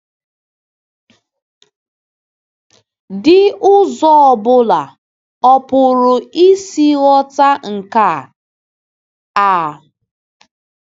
dị ụzọ ọ ọbụla ọ pụrụ isi ghọta nke a? a?.